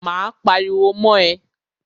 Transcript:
Máa pariwo mọ́ ẹ.